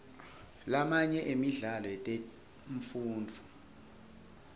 lamanye emidlalo yetemfundvo